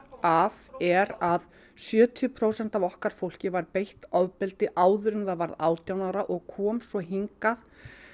af er að sjötíu prósent af okkar fólki var beitt ofbeldi áður en það varð átján ára og kom svo hingað